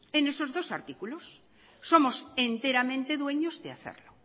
en esos dos artículos somos enteramente dueños de hacerlo